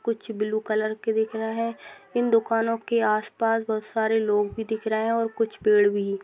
कुछ blue colour के दिख रहे हैं। इन दुकानों के आसपास बहोत सारे लोग भी दिख रहे हैं और कुछ पेड़ भी।